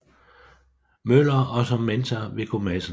Møller og som mentor Viggo Madsen